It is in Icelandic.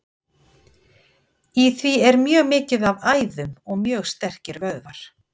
Í því er mjög mikið af æðum og mjög sterkir vöðvar.